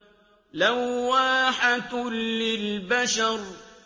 لَوَّاحَةٌ لِّلْبَشَرِ